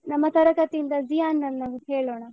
ನಮ್ಮ ತರಗತಿಯಿಂದ ಝಿಯಾನ್ ನನ್ನ ಒಂದು ಕೇಳೋಣ.